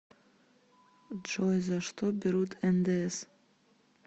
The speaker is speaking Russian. джой за что берут ндс